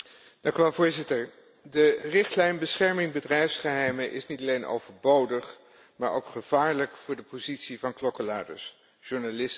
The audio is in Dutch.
De richtlijn bescherming bedrijfsgeheimen is niet alleen overbodig, maar ook gevaarlijk voor de positie van klokkenluiders, journalisten en vakbonden.